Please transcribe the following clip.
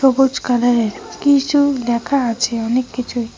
সবুজ কালারের কিছু লেখা আছে অনেক কিছুই।